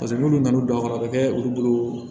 Paseke n'olu nana n'u don a kɔrɔ a bɛ kɛ olu bolo